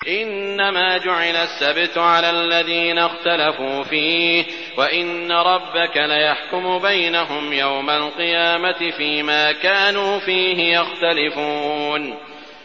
إِنَّمَا جُعِلَ السَّبْتُ عَلَى الَّذِينَ اخْتَلَفُوا فِيهِ ۚ وَإِنَّ رَبَّكَ لَيَحْكُمُ بَيْنَهُمْ يَوْمَ الْقِيَامَةِ فِيمَا كَانُوا فِيهِ يَخْتَلِفُونَ